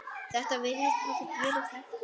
Þetta virðist hafa gengið eftir.